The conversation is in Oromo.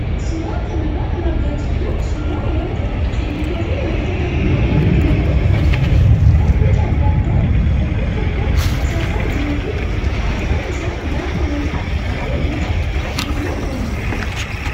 Suuraa kanarraa kan argaa jirru suuraa wanta simmintoo fi wantoota biroo walitti makuun tolfamee kan boca adda addaa tokkoon tokkoo isaarra jiruu fi arfan isaa gaafa walitti dhufe boca geengoo uuma.